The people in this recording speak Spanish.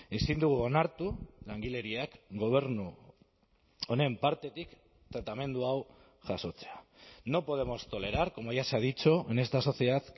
ezin dugu onartu langileriak gobernu honen partetik tratamendu hau jasotzea no podemos tolerar como ya se ha dicho en esta sociedad